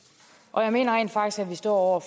jeg mener rent faktisk at vi står over